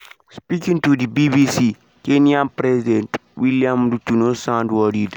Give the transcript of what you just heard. speaking to di bbc kenyan president william ruto no sound worried.